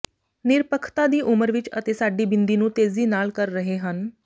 ਨਿਰਪੱਖਤਾ ਦੀ ਉਮਰ ਵਿਚ ਅਤੇ ਸਾਡੀ ਬਿੰਦੀ ਨੂੰ ਤੇਜ਼ੀ ਨਾਲ ਕਰ ਰਹੇ ਹਨ